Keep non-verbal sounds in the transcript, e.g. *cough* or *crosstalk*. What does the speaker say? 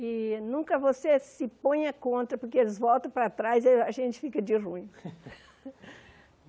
E nunca você se ponha contra, porque eles voltam para trás e a gente fica de ruim. *laughs*